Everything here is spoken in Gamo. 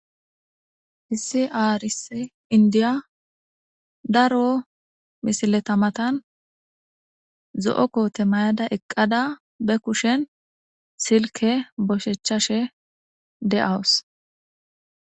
Hissi aaris indiya daro misileta matan zo'o koote mayada eqqada be kushen silke boshechashe de'awus.